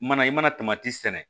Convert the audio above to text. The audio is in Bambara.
Mana i mana sɛnɛ